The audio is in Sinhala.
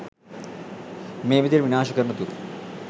මේ විදිහට විනාශ කරනතුරු